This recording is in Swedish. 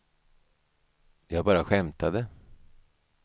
jag bara skämtade